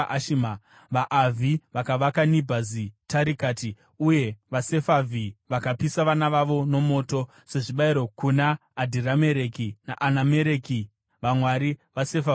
vaAvhi vakavaka Nibhazi Taritaki, uye vaSefavhi vakapisa vana vavo mumoto sezvibayiro kuna Adhiramereki naAnamereki vamwari veSefarivhaimi.